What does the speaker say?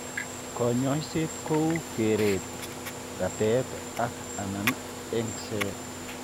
Kanyoiset ko u kereet, ratet ak/anan eng'set.